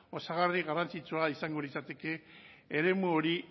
osagarri garrantzitsua izango litzateke eremu hori